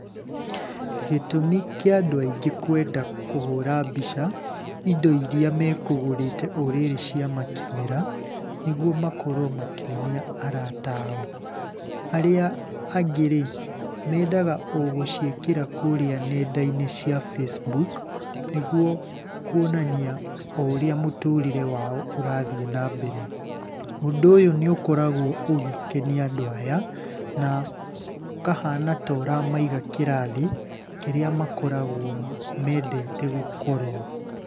Gĩtũmi kĩa andũ aingĩ kwenda kũhũra mbica indo iria mekũgũrĩte o rĩrĩ ciamakinyĩra, nĩguo makorwo makĩonia arata ao. Arĩa angĩ rĩ, mendaga o gũciĩkĩra kũríĩ nenda-inĩ cia Facebook, nĩguo kuonania o ũrĩa mũtũrĩre wao ũrathiĩ na mbere. Ũndũ ũyũ nĩ ũkoragwo ũgĩkenia andũ aya na ũkahana ta ũramaiga kĩrathi kĩrĩa makoragwo mendete gũkorwo.